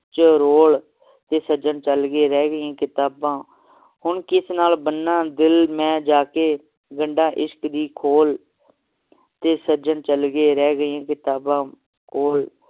ਚ ਰੋਲ ਤੇ ਸੱਜਣ ਚਲ ਗਏ ਰਹਿ ਗਈ ਕਿਤਾਬਾਂ ਹੁਣ ਕਿਸ ਨਾਲ ਬੰਨਾ ਦਿਲ ਮੈਂ ਜਾ ਕੇ ਗੰਡਾਂ ਇਸ਼ਕ ਦੀ ਖੋਲ ਤੇ ਸੱਜਣ ਚਲ ਗਏ ਰਹਿ ਗਿਆ ਕਿਤਾਬਾਂ